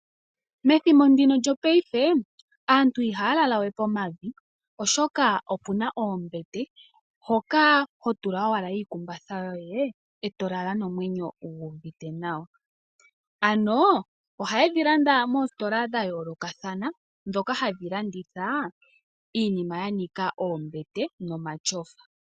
Methimbo ndino lyopaife aantu ihaya lalawe pomavi, oshoka opuna oombete hoka ho tula owala iikumbatha yoye eto lala nomwenyo gu uvite nawa. Ano ohayedhi landa moositola dhayoolokathana dhoka hadhi landitha iinima ya nika oombete nomatyofa.